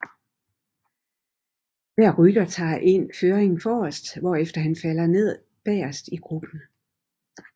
Hver rytter tager en føring forrest hvorefter han falder ned bagerst i gruppen